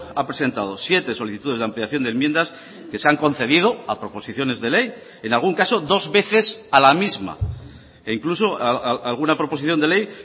ha presentado siete solicitudes de ampliación de enmiendas que se han concedido a proposiciones de ley en algún caso dos veces a la misma e incluso alguna proposición de ley